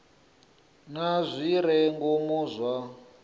na zwi re ngomu zwa